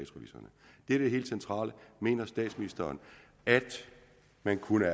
er det helt centrale mener statsministeren at man kunne